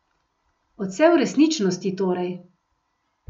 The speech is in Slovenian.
Odsev resničnosti torej.